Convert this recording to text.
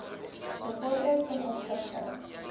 bevorder ten opsigte